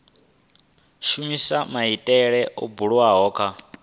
shumisa maitele o bulwaho kha